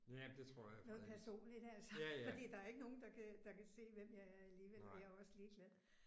Noget personligt altså fordi der er ikke nogen der kan der kan se hvem jeg er alligevel og jeg er også ligeglad